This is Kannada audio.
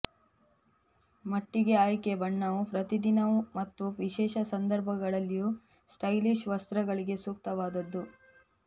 ಮಟ್ಟಿಗೆ ಆಯ್ಕೆ ಬಣ್ಣವು ಪ್ರತಿದಿನವೂ ಮತ್ತು ವಿಶೇಷ ಸಂದರ್ಭಗಳಲ್ಲಿಯೂ ಸ್ಟೈಲಿಶ್ ವಸ್ತ್ರಗಳಿಗೆ ಸೂಕ್ತವಾದದ್ದು